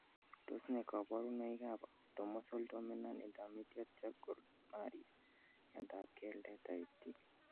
Tos nee koborunoikab Autosomal dominant intermediate Charcot Marie miondab keldet type D?